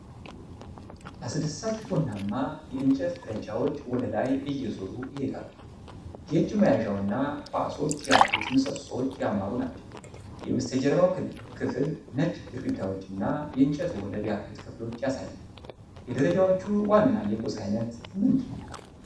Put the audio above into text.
አስደሳች ቡናማ የእንጨት ደረጃዎች ወደ ላይ እየዞሩ ይሄዳሉ። የእጅ መያዣውና ኳሶች ያሉት ምሰሶች ያማሩ ናቸው። የበስተጀርባው ክፍል ነጭ ግድግዳዎች እና የእንጨት ወለል ያሉት ክፍሎችን ያሳያል። የደረጃዎቹ ዋና የቁስ አይነት ምንድነው?